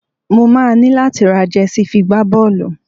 Mo máa ní láti ra jẹsí fi gbá bọ́ọ́lù.